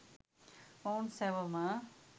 මොවුන් සෑවොම